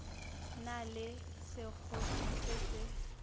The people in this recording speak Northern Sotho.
na le sekgopi se se